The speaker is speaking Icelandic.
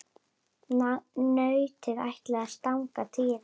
Nautið ætlaði að stanga Týra.